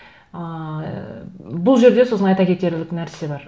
ыыы бұл жерде сосын айта кетерлік нәрсе бар